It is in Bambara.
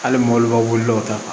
Hali mɔbilibaw wulila dɔw ta kan